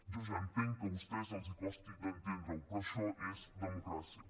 jo ja entenc que a vostès els costi d’entendre ho però això és democràcia